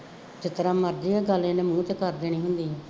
ਜਿਸ ਤਰ੍ਹਾ ਮਰਜ਼ੀ ਹੈ, ਗੱਲ ਇਹਨੇ ਮੂੰਹ ਤੇ ਕਰ ਦੇਣੀ ਹੁੰਦੀ ਹੈ